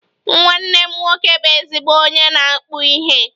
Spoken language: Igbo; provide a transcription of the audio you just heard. Nwanne m nwoke bụ ezigbo onye na-akpu ihe